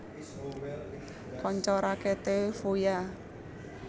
Kanca raketé Fuya